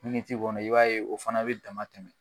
ti kɔnɔ i b'a ye o fana bɛ dama tɛmɛ.